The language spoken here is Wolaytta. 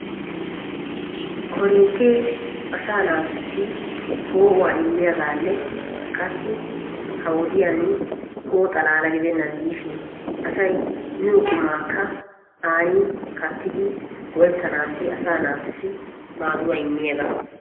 Korinttee asaa naatussi poo"uwaa immiyaagaa gidishin qassi ha wodiyaan poo"o xalaala gidennan diishin asay miyoo qumaakka kaattidi an go"ettanaassi asaa naatussi maaduwaa immiyaagaa.